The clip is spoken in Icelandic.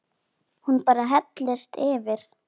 Hún bara hellist yfir.